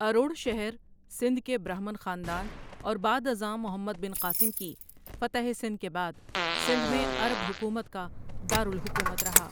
اروڑ شہر سندھ کے برہمن خاندان اور بعد ازاں محمد بن قاسم کی فتح سندھ کے بعد سندھ میں عرب حکومت کا دار الحکومت رہا ــ